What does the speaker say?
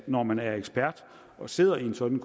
når man er ekspert og sidder i sådan